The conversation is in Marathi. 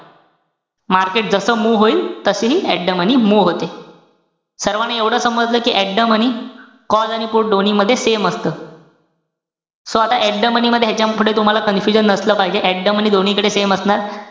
Market जस move होईल, तस हि at the money move होते. सर्वाना एवढं समजलं कि at the money call आणि put दोन्ही मध्ये same असतं. so आता at the money मध्ये ह्यांच्यापुढे तुम्हाला confusion नसलं पाहिजे. At the money दोन्हीकडे same असणार.